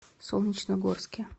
солнечногорске